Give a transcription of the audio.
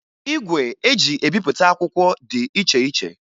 Igwe eji ebipụta akwụkwọ dị iche iche